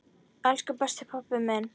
Elsku besti pabbi minn.